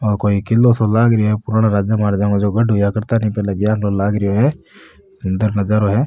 ओ कोई किलो सो लगा रेहो है पुरानो राजो महाराजो को जो गढ़ हुया करता नी पहला ब्यान को लाग रो है सुन्दर नजारो है।